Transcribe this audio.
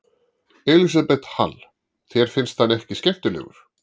Elísabet Hall: Þér finnst hann ekki skemmtilegur?